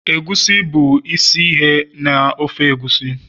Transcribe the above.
egusi bụ isi ihe na ofe egusi